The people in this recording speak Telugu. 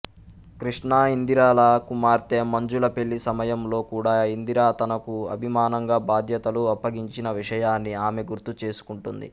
కృష్ణఇందిరల కుమార్తె మంజుల పెళ్ళి సమయంలో కూడా ఇందిర తనకు అభిమానంగా బాధ్యతలు అప్పగించిన విషయాన్ని ఆమె గుర్తుచేసుకుంటుంది